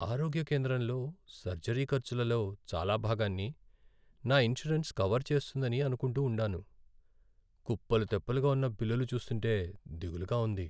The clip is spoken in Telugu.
ఆరోగ్య కేంద్రంలో సర్జరీ ఖర్చులలో చాలా భాగాన్ని నా ఇన్సూరెన్స్ కవర్ చేస్తుందని అనుకుంటూ ఉండాను. కుప్పలు తెప్పలుగా ఉన్న బిల్లులు చూస్తుంటే దిగులుగా ఉంది.